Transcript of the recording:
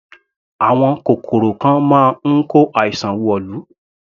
Àwọn kòkòrò kan máa ń kó àìsàn wọ̀lú.